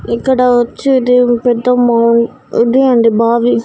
ఇక్కడ వచ్చేది పెద్ద మౌ అదే అండి బావి.